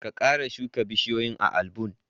Ka kara shuka bishiyoyi a almbun!